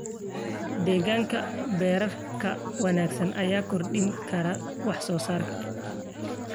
Deegaan beereedka wanaagsan ayaa kordhin kara wax-soo-saarka.